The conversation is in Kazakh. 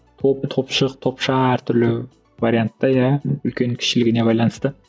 топ топшық топша әртүрлі вариантта иә үлкен кішілігіне байланысты